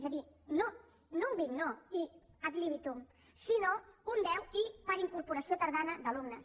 és a dir no un vint no i ad libitum sinó un deu i per incorporació tardana d’alumnes